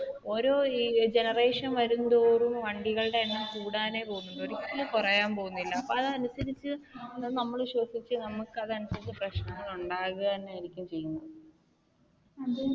ഓരോ generation വരുന്തോറും വണ്ടികളുടെ എണ്ണം കൂടാനേ പോകുന്നുള്ളൂ ഒരു പക്ഷെ കുറയാൻ പോകുന്നില്ല. അതനുസരിച്ചു നമ്മൾ ശ്വസിച്ചു നമുക്ക് അതനുസരിച്ചു പ്രശ്നങ്ങൾ ഉണ്ടാകുക തന്നെയായിരിക്കും ചെയ്യുന്നത്.